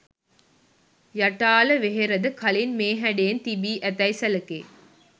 යටාල වෙහෙරද කලින් මේ හැඩයෙන් තිබී ඇතැයි සැලකේ.